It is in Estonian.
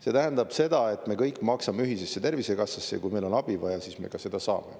See tähendab seda, et me kõik maksame ühisesse tervisekassasse ja kui meil on abi vaja, siis me ka seda saame.